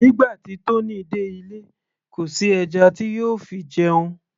nígbà tí Tony dé ilé kò sí ẹja tí yóò fi jẹun